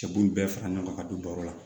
Cɛ b'u bɛɛ fara ɲɔgɔn kan ka don baro la